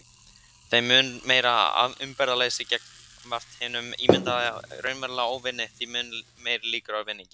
Þeim mun meira umburðarleysi gagnvart hinum ímyndaða eða raunverulega óvini, því meiri líkur á vinningi.